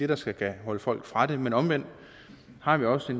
der skal kunne holde folk fra det men omvendt har vi også